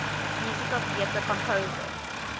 musical theatre composers